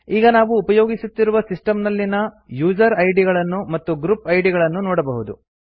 ಈಗ ನಾವು ಉಪಯೋಗಿಸುತ್ತಿರುವ ಸಿಸ್ಟಮ್ ನಲ್ಲಿನ ಯೂಸರ್ ಐಡಿಗಳನ್ನು ಮತ್ತು ಗ್ರುಪ್ ಐಡಿ ಗಳನ್ನು ನೋಡಬಹುದು